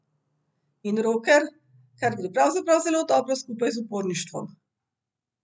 In roker, kar gre pravzaprav zelo dobro skupaj z uporništvom.